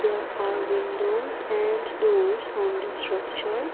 there are windows and doors on the structure.